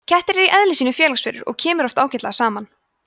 kettir eru í eðli sínu félagsverur og kemur oft ágætlega saman